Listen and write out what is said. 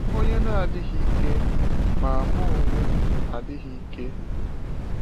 Ònye na-adịghị ike, ma mụ onwe m adịghị ike?